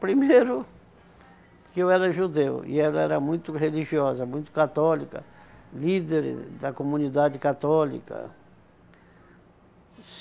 Primeiro, que eu era judeu e ela era muito religiosa, muito católica, líder da comunidade católica.